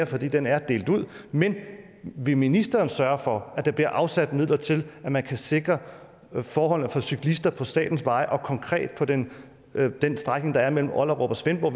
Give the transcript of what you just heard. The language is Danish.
fordi den er delt ud men vil ministeren sørge for at der bliver afsat midler til at man kan sikre forholdene for cyklister på statens veje og konkret på den strækning der er mellem ollerup og svendborg